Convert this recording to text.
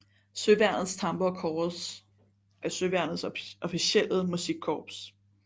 Søværnets Tamburkorps er søværnets officielle musikkorps